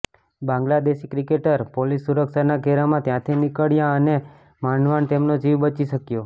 Bangladeshi cricketer police સુરક્ષાના ઘેરામાં ત્યાંથી નીકળ્યાં અને માંડ માંડ તેમનો જીવ બચી શક્યો